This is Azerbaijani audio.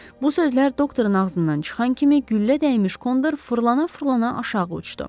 Bu sözlər doktorun ağzından çıxan kimi güllə dəymiş kondor fırlana-fırlana aşağı uçdu.